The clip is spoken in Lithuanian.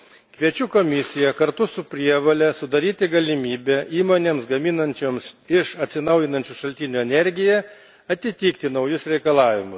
Kviečiu Komisiją kartu su prievole sudaryti galimybę įmonėms, gaminančioms iš atsinaujinančių šaltinių energiją, atitikti naujus reikalavimus.